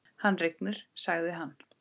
Hann rignir, sagði hann.